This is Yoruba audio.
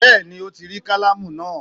Bẹ́ẹ̀ni Ó ti rí kálámù náà